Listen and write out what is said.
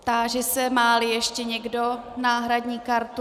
Táží se, má-li ještě někdo náhradní kartu.